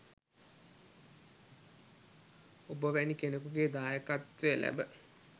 ඔබ වැනි කෙනෙකුගේ දායකත්වය ලැබ